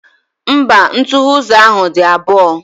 Mba, ntughe ụzọ ahụ dị abụọ.